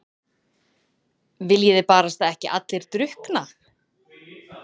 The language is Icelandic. Viljiði barasta ekki allir drukkna?